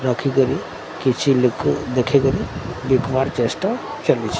ରଖିକରି କିଛି ଲୋକ ଦେଖିକରି ବିକ୍ ବାର୍ ଚେଷ୍ଟା ଚାଲିଛି।